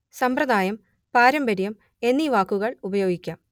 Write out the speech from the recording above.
സമ്പ്രദായം പാരമ്പര്യം എന്നീ വാക്കുകൾ ഉപയോഗിക്കാം